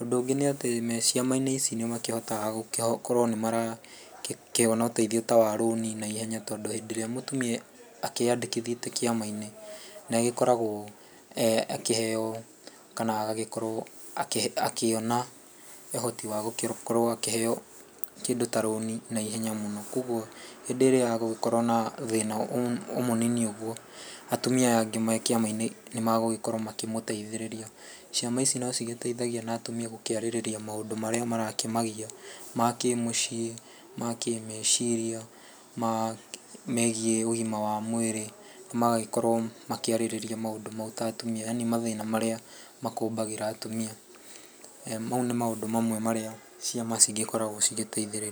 Ũndũ ũngĩ nĩ atĩ, meciama-inĩ icio nĩ makĩhotaga gũkorwo nĩ marakĩona ũteithio ta wa rũni, tondũ hĩndĩ ĩrĩa mũtumia akĩyandĩkithĩtie kĩama-inĩ, nĩ agĩkoragwo agĩkĩheyo, kana agagĩkorwo akĩona ũhoti wa gũgĩkorwo akĩheyo kĩndũ ta rũni naihenya mũno. Koguo hĩndĩ ĩrĩa gũgĩkorwo na thĩna o mũnini ũguo, atumia aya angĩ mekĩama-inĩ nĩ magũgĩkorwo magĩmũteithĩrĩria. Ciama ici no cigĩteithagia na atumia gũkĩarĩrĩria maũndũ marĩa marakĩmagia, makĩmũciĩ, makĩmeciria, megiĩ ũgima wa mwĩrĩ. Na magagĩkorwo makĩarĩrĩria maũndũ mau ta atumia, yaani mathĩna marĩa makũmbagĩra atumia. Mau nĩ maũndũ marĩa ciama cigĩkoragwo cigĩteithĩrĩria.